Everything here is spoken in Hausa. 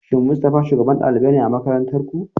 Shin Mustafa shugaban ɗalibai ne a makarantar ku?